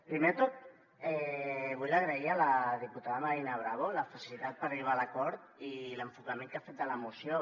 primer de tot vull agrair a la diputada marina bravo la facilitat per arribar a l’acord i l’enfocament que ha fet de la moció